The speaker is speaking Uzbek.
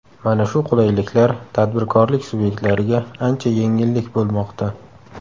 Mana shu qulayliklar tadbirkorlik subyektlariga ancha yengillik bo‘lmoqda.